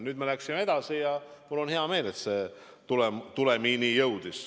Nüüd me oleme edasi läinud ja mul on hea meel, et on jõutud ka tulemini.